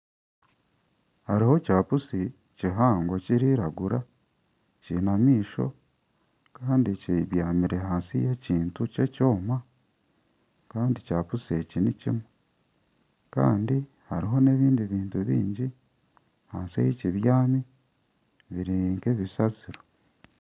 Hariho kya pusi kihango kiriragura kiine amaisho Kandi kibyamire ahansi y'ekintu ky'ekoma Kandi kya pusi eki nikimwe Kandi hariho n'ebindi bintu biingi ahansi ahi kibyami birinka ebisasiro.